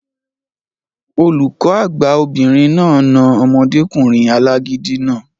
Olùkọ́ àgbà obìnrin náà na omọdékùnrin alágídí náà